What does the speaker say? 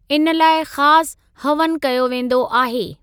इन लाइ ख़ासि हवनु कयो वेंदो आहे।